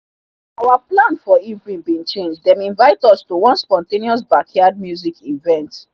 our plan for evening bin change them invite us to one spontaneous backyard music event.